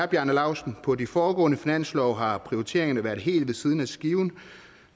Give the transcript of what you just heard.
bjarne lausten på de foregående finanslove har prioriteringerne været helt ved siden af skiven